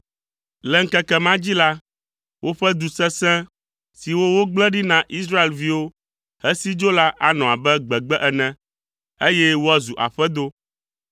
Le ŋkeke ma dzi la, woƒe du sesẽ siwo wogblẽ ɖi na Israelviwo hesi dzo la anɔ abe gbegbe ene, eye woazu aƒedo.